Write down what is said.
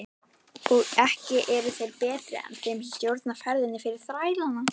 Og ekki eru þeir betri sem stjórna ferðinni fyrir þrælana.